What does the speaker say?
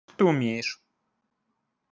ты умеешь